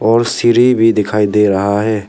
और सीढ़ी भी दिखाई दे रहा है।